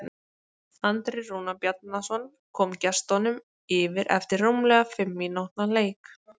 Andri Rúnar Bjarnason kom gestunum yfir eftir rúmlega fimm mínútna leik.